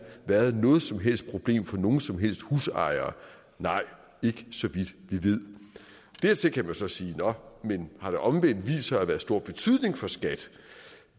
været noget som helst problem for nogen som helst husejere nej ikke så vidt vi ved dertil kan man så sige nå men har det omvendt vist sig at være af stor betydning for skat